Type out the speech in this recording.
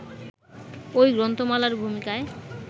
ওই গ্রন্থমালার ভূমিকায়